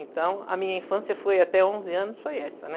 Então, a minha infância foi até onze anos, foi essa, né?